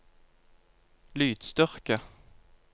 lydstyrke